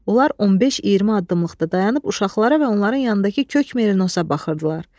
Onlar 15-20 addımlıqda dayanıb uşaqlara və onların yanındakı kök merinosa baxırdılar.